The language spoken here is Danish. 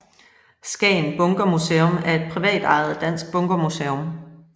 Skagen Bunkermuseum er et privatejet dansk bunkermuseum